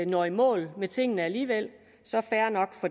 når i mål med tingene alligevel så er